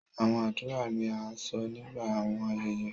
Awọn adura ni a sọ nigba awọn ayẹyẹ